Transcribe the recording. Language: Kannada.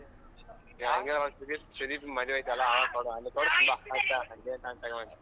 ಸುದೀಪ್ ಸುದೀಪ್ ಮದುವೆ ಐತಲ್ಲ ಅವಾಗ್ ಕೊಡ್ವಾ ಆಯ್ತಾ .